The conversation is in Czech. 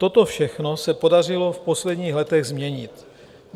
Toto všechno se podařilo v posledních letech změnit.